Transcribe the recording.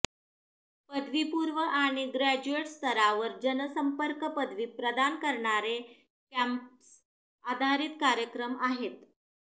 पदवीपूर्व आणि ग्रॅज्युएट स्तरावर जनसंपर्क पदवी प्रदान करणारे कॅम्पस आधारित कार्यक्रम आहेत